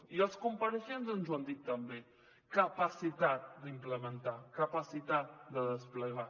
i els compareixents ens ho han dit també capacitat d’implementar capacitat de desplegar